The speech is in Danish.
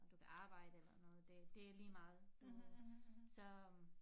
Du kan arbejde eller noget det det ligemeget du så